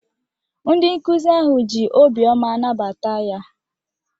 Ndị nkuzi ahụ ji obiọma nabata ya.